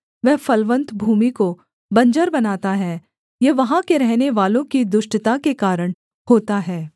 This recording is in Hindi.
वह फलवन्त भूमि को बंजर बनाता है यह वहाँ के रहनेवालों की दुष्टता के कारण होता है